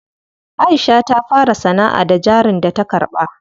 Aisha ta fara sanaʼa da jarin da ta karɓa.